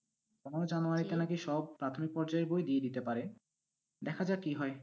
আবারও জানুয়ারিতে নাকি সব প্রাথমিক পর্যায়ের বই দিয়ে দিতে পারে, দেখা যাক কি হয়।